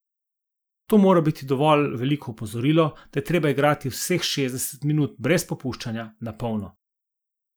To mora biti dovolj veliko opozorilo, da je treba igrati vseh šestdeset minut brez popuščanja, na polno.